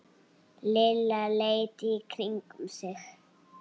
Lilla leit í kringum sig.